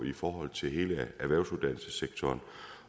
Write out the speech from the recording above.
i forhold til hele erhvervsuddannelsessektoren